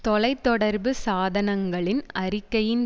தொலை தொடர்பு சாதனங்களின் அறிக்கையின்